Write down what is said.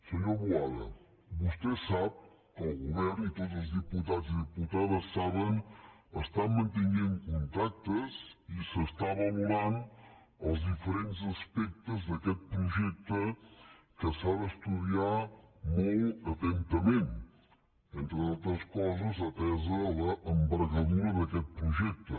senyor boada vostè sap que el govern i tots els diputats i diputades saben està mantenint contactes i s’està valorant els diferents aspectes d’aquest projecte que s’ha d’estudiar molt atentament entre d’altres coses atesa l’envergadura d’aquest projecte